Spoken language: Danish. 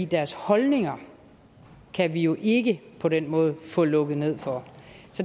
deres holdninger kan vi jo ikke på den måde få lukket ned for